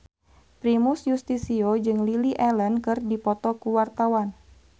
Primus Yustisio jeung Lily Allen keur dipoto ku wartawan